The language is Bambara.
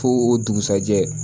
Fo o dugusɛjɛ